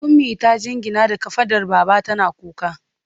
Ummi ta jingina da kafadar baba tana kuka.